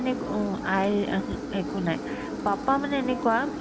একো অ, আইৰ এ হুম একো নাই papa মানে এনেকুৱা উম